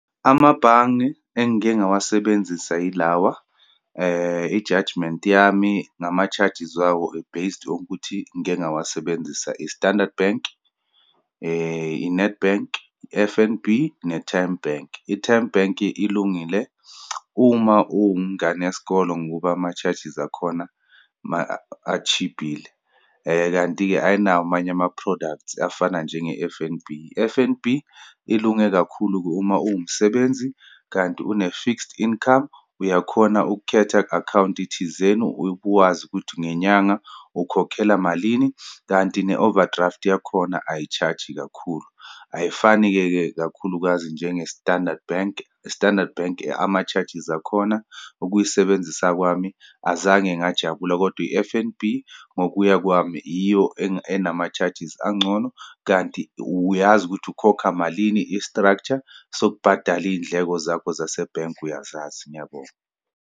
Amabhange engike ngawasebenzisa ilawa i-judgement yami ngama-chargers wawo were based okuthi ngike ngawasebenzisa. I-Standard Bank, i-Nedbank, i-F_N_B, ne-Tymebank. I-Tymebank ilungile uma ngane yesikole ngoku ama-charges akhona atshibhile. Kanti-ke, ayinawo amanye ama-products afana njenge-F_N_B. I-F_N_B illunge kakhulu-ke uma uwumsebenzi, kanti une-fixed income, uyakhona ukukhetha akhawunti thizeni ube wazi ukuthi ngenyanga ukhokhela malini, kanti ne-overdraft yakhona ayitshaji kakhulu. Ayifani-ke ke, kakhulukazi njenge-Standard Bank. I-Standard Bank ama-charges akhona, ukuyisebenzisa kwami azange ngajabula, kodwa i-F_N_B, ngokuya kwami iyo enama-charges angcono, kanti uyazi ukuthi ukhokha malini. I-structure sokubhadala iyindleko zakho zasebhenki uyazazi. Ngiyabonga.